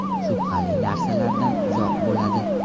Shubhali narsalardan uzoq bo‘ladi.